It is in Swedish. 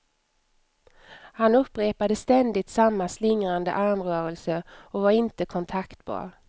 Han upprepade ständigt samma slingrande armrörelser och var inte kontaktbar.